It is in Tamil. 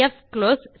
பிக்ளோஸ்